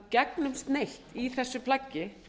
gegnumsneitt í þessu plaggi